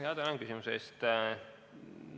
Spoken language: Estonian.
Tänan küsimuse eest!